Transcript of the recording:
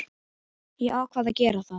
Ég ákvað að gera það.